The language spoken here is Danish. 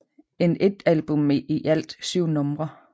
En et album med i alt 7 numre